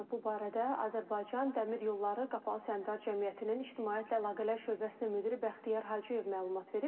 Bu barədə Azərbaycan dəmir yolları Qapalı Səhmdar Cəmiyyətinin ictimaiyyətlə əlaqələr şöbəsinin müdiri Bəxtiyar Hacıyev məlumat verib.